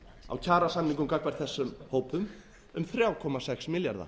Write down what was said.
á kjarasamningum gagnvart þessum hópum um þrjú komma sex milljarða